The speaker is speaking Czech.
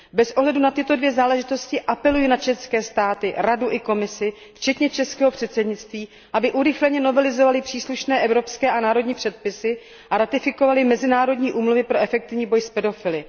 Bez ohledu na tyto dvě záležitosti apeluji na členské státy, Radu i Komisi včetně českého předsednictví, aby urychleně novelizovaly příslušné evropské a národní předpisy a ratifikovaly mezinárodní úmluvy pro efektivní boj s pedofily.